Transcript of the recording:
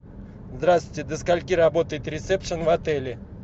здравствуйте до скольки работает ресепшн в отеле